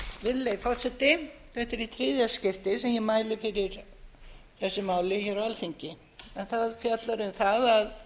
virðulegi forseti þetta er í þriðja skiptið sem ég mæli fyrir þessu máli hér á alþingi en það fjallar um það að